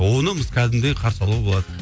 оны біз кәдімгідей қарсы алуға болады